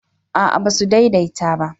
a'a ba su daidaita ba